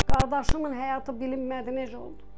Qardaşımın həyatı bilinmədi, necə oldu.